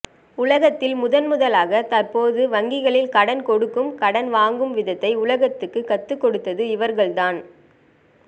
உலகத்தில் முதன் முதாலாக தற்பொழுது வங்கிகளில் கடன் கொடுக்கும் கடன் வாங்கும் விதத்தை உலகத்துக்கு கத்து கொடுத்தது இவர்கள் தான்